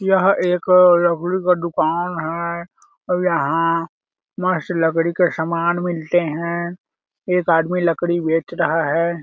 यह एक लकड़ी का दुकान है और यहाँ मस्त लकड़ी के समान मिलते है एक आदमी लकड़ी बेच रहा हैं।